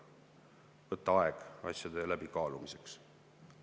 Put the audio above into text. Tuleb võtta aega asjade läbikaalumiseks.